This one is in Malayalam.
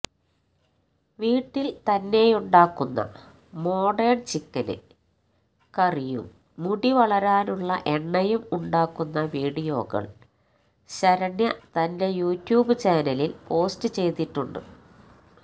വീട്ടില് തന്നെയുണ്ടാക്കുന്ന മോഡേണ് ചിക്കന് കറിയും മുടിവളരാനുള്ള എണ്ണയും ഉണ്ടാക്കുന്ന വീഡിയോകള് ശരണ്യ തന്റെ യൂട്യൂബ് ചാനലില് പോസ്റ്റ് ചെയ്തിട്ടുണ്ട്